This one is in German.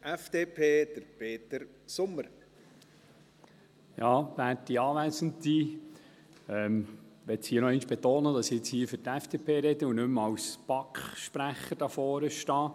Ich möchte hier noch einmal betonen, dass ich für die FDP rede und nicht mehr als BaK-Sprecher hier vorne stehe.